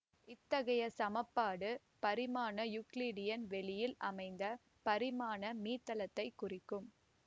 இத்தகைய சமன்பாடு பரிமாண யூக்ளிடியன் வெளியில் அமைந்த பரிமாண மீத்தளத்தைக் குறிக்கும்